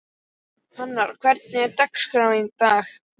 Hamar, hvernig er dagskráin í dag?